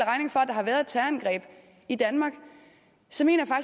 der har været et terrorangreb i danmark så mener